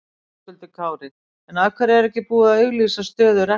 Höskuldur Kári: En af hverju er ekki búið að auglýsa stöðu rektors?